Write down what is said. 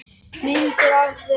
Myndir af þér.